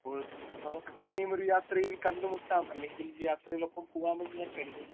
Speaker 1 ഇപ്പോൾ നമുക്ക് പിന്നെയും ഒരു യാത്രയിൽ കണ്ടുമുട്ടാം അല്ലെങ്കിൽ യാത്രയിൽ ഒപ്പം പോവാം എന്ന് ഞാൻ കരുതുന്നു.